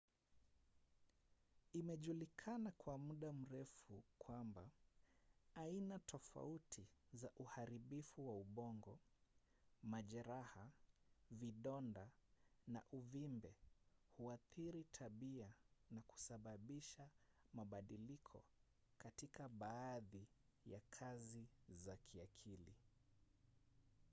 imejulikana kwa muda mrefu kwamba aina tofauti za uharibifu wa ubongo majeraha vidonda na uvimbe huathiri tabia na kusababisha mabadiliko katika baadhi ya kazi za kiakili